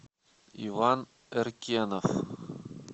иван эркенов